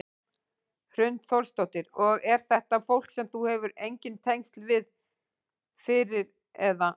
Hrund Þórsdóttir: Og er þetta fólk sem þú hefur engin tengsl við fyrir eða?